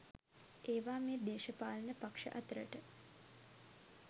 ඒවා මේ දේශපාලන පක්ෂ අතරට